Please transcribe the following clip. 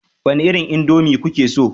Wani irin indomie kuke so